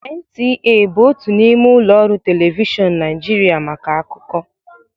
NTA bụ otu n'ime ụlọ ọrụ telivishọn Nigeria maka akụkọ